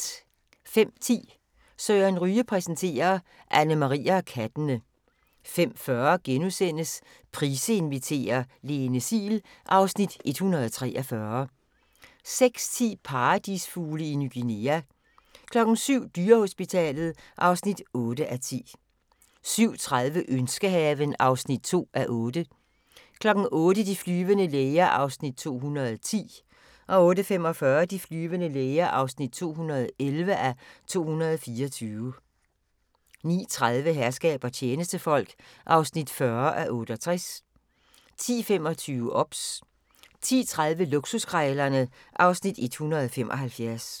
05:10: Søren Ryge præsenterer: Annemarie og kattene 05:40: Price inviterer - Lene Siel (Afs. 143)* 06:10: Paradisfugle i Ny Guinea 07:00: Dyrehospitalet (8:10) 07:30: Ønskehaven (2:8) 08:00: De flyvende læger (210:224) 08:45: De flyvende læger (211:224) 09:30: Herskab og tjenestefolk (40:68) 10:25: OBS 10:30: Luksuskrejlerne (Afs. 175)